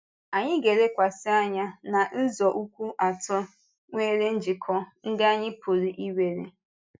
Anyị ga-elekwasị anya na nzọụkwụ atọ nwere njikọ ndị anyị pụrụ ị̀were.